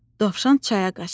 Dovşan çaya qaçdı.